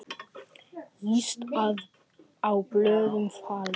Yst á blöðum faldur.